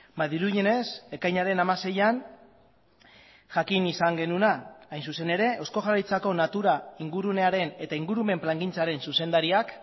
ba dirudienez ekainaren hamaseian jakin izan genuena hain zuzen ere eusko jaurlaritzako natura ingurunearen eta ingurumen plangintzaren zuzendariak